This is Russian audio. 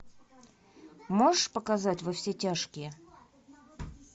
можешь показать во все тяжкие